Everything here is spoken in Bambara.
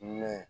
Mɛ